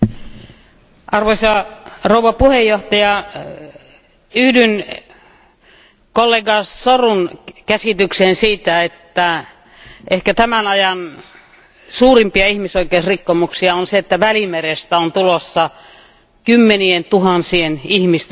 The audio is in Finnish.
Arvoisa puhemies, yhdyn kollega Sorun käsitykseen siitä, että ehkä tämän ajan suurimpia ihmisoikeusrikkomuksia on se, että Välimerestä on tulossa kymmenien tuhansien ihmisten hauta.